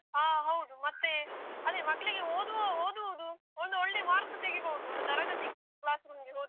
ಹ ಹೌದು. ಮತ್ತೆ ಅದೇ ಮಕ್ಳಿಗೆ ಓದುವ ಓದುವುದು ಒಂದು ಒಳ್ಳೆ mark ತೆಗಿಬೋದು. ಒಂದು ತರಗತಿ classroom ಗೆ ಹೋದ್ರೆ.